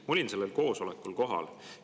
Ma olin sellel koosolekul kohal.